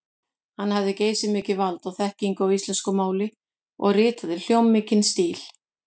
Hann hafði geysimikið vald og þekkingu á íslensku máli og ritaði hljómmikinn stíl.